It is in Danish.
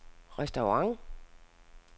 restaurant